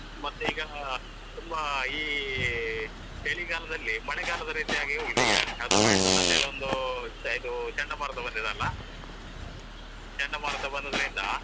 ಮತ್ತೆ ಈಗ ತುಂಬಾ ಈ ಚಳಿಗಾಲದಲ್ಲಿ ಮಳೆಗಾಲದ ರೀತಿ ಹಾಗಿ ಹೋಗಿದೆ ಈಗ ಅದು ಅಂತ ಹೇಳಿ ಒಂದು ಇದು ಚಂಡಮಾರುತ ಬಂದಿದೆ ಅಲ್ಲಾ ಚಂಡಮಾರುತ ಬಂದುದರಿಂದ.